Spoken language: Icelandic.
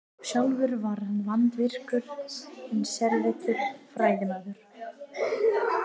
sjálfur var hann vandvirkur en sérvitur fræðimaður